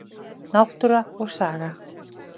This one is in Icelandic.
Náttúra og saga.